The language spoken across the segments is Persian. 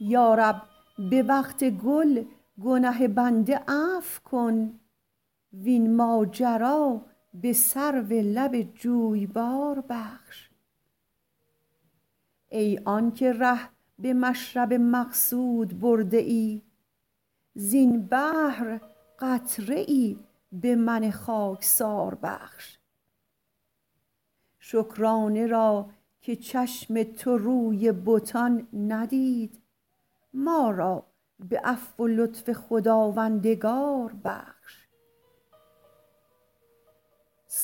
یا رب به وقت گل گنه بنده عفو کن وین ماجرا به سرو لب جویبار بخش ای آن که ره به مشرب مقصود برده ای زین بحر قطره ای به من خاکسار بخش شکرانه را که چشم تو روی بتان ندید ما را به عفو و لطف خداوندگار بخش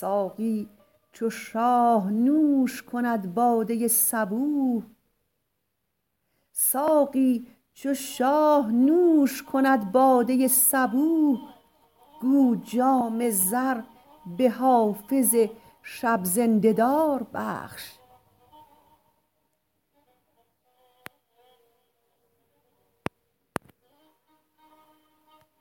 ساقی چو شاه نوش کند باده صبوح گو جام زر به حافظ شب زنده دار بخش